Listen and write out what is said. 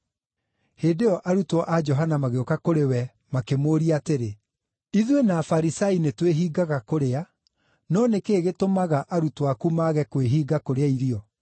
Hĩndĩ ĩyo arutwo a Johana magĩũka kũrĩ we makĩmũũria atĩrĩ, “Ithuĩ na Afarisai nĩtwĩhingaga kũrĩa, no nĩ kĩĩ gĩtũmaga arutwo aku mage kwĩhinga kũrĩa irio?”